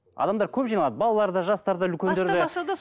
адамдар көп жиналады балалар да жастар да үлкендер де